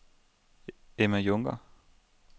Emma Junker